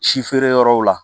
Si feere yɔrɔw la